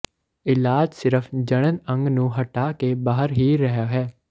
ਇਲਾਜ ਸਿਰਫ ਜਣਨ ਅੰਗ ਨੂੰ ਹਟਾ ਕੇ ਬਾਹਰ ਹੀ ਰਿਹਾ ਹੈ